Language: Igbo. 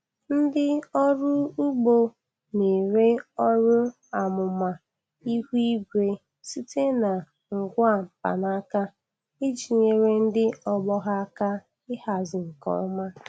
Ndị ọrụ ugbo na-ere ọrụ amụma ihu igwe site na ngwa mkpanaka iji nyere ndị ọgbọ ha aka ịhazi nke ọma.